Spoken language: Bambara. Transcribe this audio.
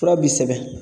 Fura bi sɛbɛn